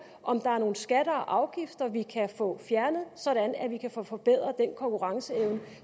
om der er nogle skatter og afgifter vi kan få fjernet sådan at vi kan få forbedret den konkurrenceevne